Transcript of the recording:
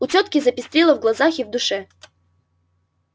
у тётки запестрило в глазах и в душе